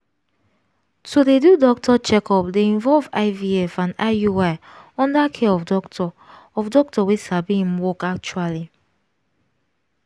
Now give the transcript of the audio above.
to dey do doctor checkup dey involve ivf and iui under care of doctor of doctor wey sabi im work actually